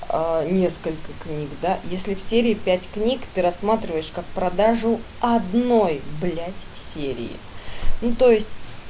несколько книг да если в серии пять книг ты рассматриваешь как продажу одной блядь серии ну то есть